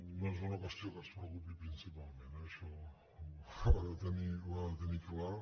no és una qüestió que ens preocupi principalment eh això ho ha de tenir clar